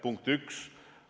Punkt üks.